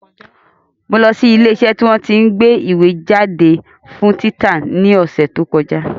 Mo lọ sí ilé iṣẹ́ tí wọ́n tí ń gbé ìwé jáde fún títa ní ọ̀sẹ̀ tí ó kọjá